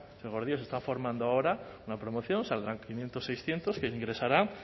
señor gordillo se está formando ahora una promoción saldrán quinientos seiscientos que ingresarán